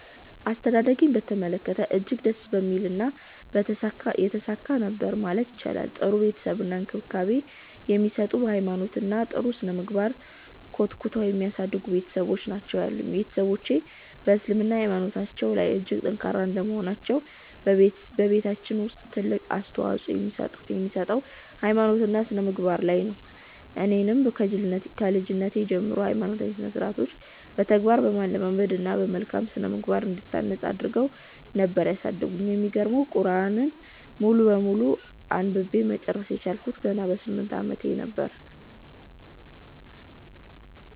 አስተዳደጌን በተመለከተ እጅግ ደስ የሚልና የተሳካ ነበር ማለት ይቻላል። ጥሩ ፍቅር እና እንክብካቤ የሚሰጡ፤ በ ሃይማኖት እና በ ጥሩ ስነምግባር ኮትኩተው የሚያሳድጉ ቤትሰቦች ናቸው ያሉኝ። ቤትሰቦቼ በ እስልምና ሃይማኖታቸው ላይ እጅግ ጠንካራ እንደመሆናቸው በቤታችን ውስጥ ትልቅ አፅንኦት የሚሰጠው ሃይማኖት እና ስነምግባር ላይ ነበር። እኔንም ከልጅነቴ ጀምሮ ሃይማኖታዊ ስርዓትን በተግባር በማለማመድ እና በመልካም ስነምግባር እንድታነፅ አድረገው ነበር ያሳደጉኝ። የሚገርመው ቁርዐንን ሙሉ በሙሉ አንብቤ መጨረስ የቻልኩት ገና በ 8 አመቴ ነበር።